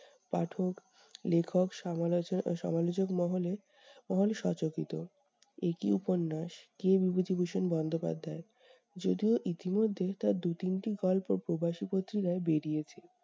পাঠক, লেখক, সমালোচ সমালোচক মহলে এ কী উপন্যাস! কে বিভূতিভূষণ বন্দ্যোপাধ্যায়! যদিও ইতিমধ্যে তার দু তিনটি গল্প প্রবাসী পত্রিকায় বেরিয়েছে।